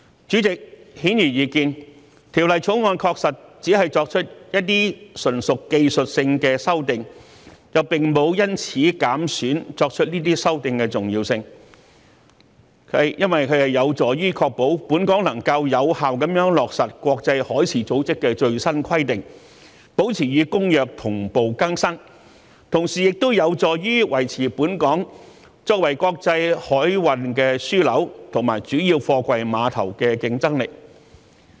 主席，顯而易見，《條例草案》確實只是作出一些純屬技術性的修訂，並沒有因此減損作出修訂的重要性，這有助於確保本港能夠有效地落實國際海事組織的最新規定，保持與《公約》同步更新，同時有助於維持本港作為國際海運樞紐和主要貨櫃碼頭的競爭力。